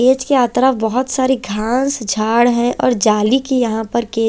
as के आतरा बहुत सारी घास जाड़ है और जाली की यहाँ पर के--